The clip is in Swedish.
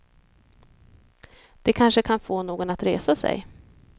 Det kanske kan få någon att resa sig.